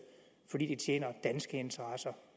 fordi det tjener danske interesser